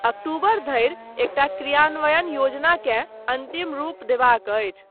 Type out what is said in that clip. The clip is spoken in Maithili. अक्टूबर धरि, एकटा क्रियान्वयन योजनाकेँ अन्तिम रूप देबाक अछि।